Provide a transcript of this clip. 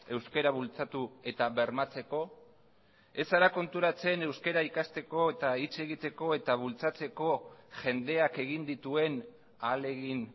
euskara bultzatu eta bermatzeko ez zara konturatzen euskara ikasteko eta hitz egiteko eta bultzatzeko jendeak egin dituen ahalegin